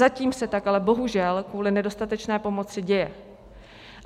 Zatím se tak ale bohužel kvůli nedostatečné pomoci děje.